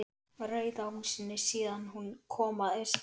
Rauða húsinu síðan hún kom að austan.